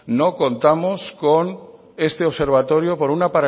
no contamos con este observatorio por una